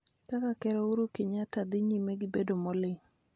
Kaka Ker Ouru Kenyatta dhi nyime gi bedo moling'